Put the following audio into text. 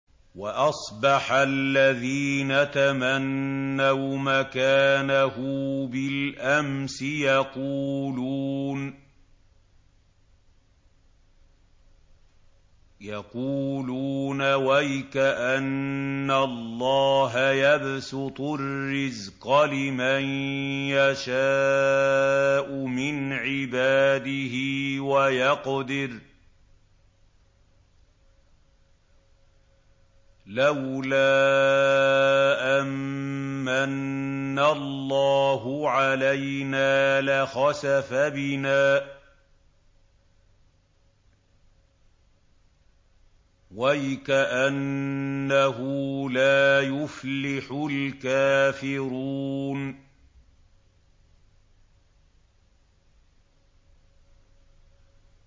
وَأَصْبَحَ الَّذِينَ تَمَنَّوْا مَكَانَهُ بِالْأَمْسِ يَقُولُونَ وَيْكَأَنَّ اللَّهَ يَبْسُطُ الرِّزْقَ لِمَن يَشَاءُ مِنْ عِبَادِهِ وَيَقْدِرُ ۖ لَوْلَا أَن مَّنَّ اللَّهُ عَلَيْنَا لَخَسَفَ بِنَا ۖ وَيْكَأَنَّهُ لَا يُفْلِحُ الْكَافِرُونَ